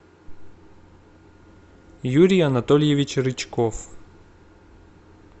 юрий анатольевич рычков